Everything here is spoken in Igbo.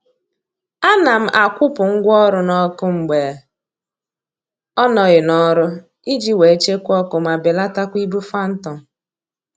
A na m akwụpụ ngwa ọrụ n'ọkụ mgbe ọ nọghị n'ọrụ iji wee chekwaa ọkụ ma belatakwa ibu phantom